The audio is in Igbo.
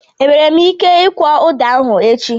E nwere m ike ikwọ ụda ahụ?